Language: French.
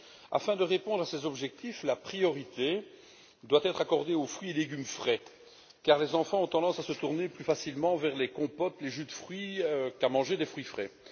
Afin de répondre à ces objectifs, la priorité doit être accordée aux fruits et légumes frais car les enfants ont tendance à se tourner plus facilement vers les compotes et les jus de fruits plutôt que de manger des fruits frais.